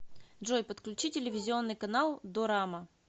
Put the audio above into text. джой подключи телевизионный канал дорама